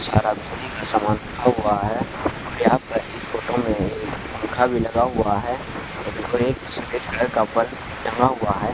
यहां पर इस फोटो में एक पंखा भी लगा हुआ है सफेद कलर का बल्ब टंगा हुआ है